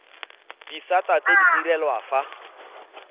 disata tse di direlwang fa